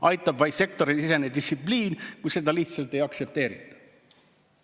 Aitab vaid sektorisisene distsipliin, kuid seda lihtsalt ei aktsepteerita.